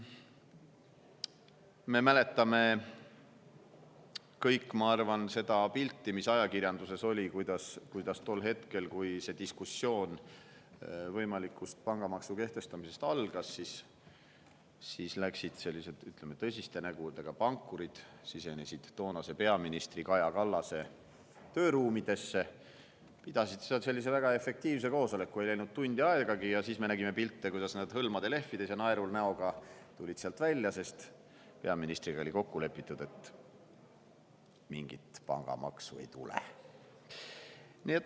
Me mäletame kõik, ma arvan, seda pilti, mis ajakirjanduses oli, kuidas tol hetkel, kui diskussioon võimaliku pangamaksu kehtestamise üle algas, sellised tõsiste nägudega pankurid sisenesid toonase peaministri Kaja Kallase tööruumidesse, pidasid seal väga efektiivse koosoleku, milleks ei läinud tundi aegagi, ja siis me nägime pilte, kuidas nad hõlmade lehvides ja naerul näoga tulid sealt välja, sest peaministriga oli kokku lepitud, et mingit pangamaksu ei tule.